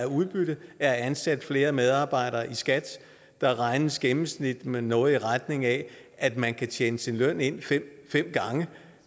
udbytte af at ansætte flere medarbejdere i skat der regnes i gennemsnit med noget i retning af at man kan tjene sin løn ind fem gange